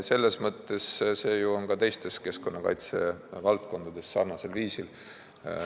Selles mõttes on see ju ka teistes keskkonnakaitse valdkondades sarnane.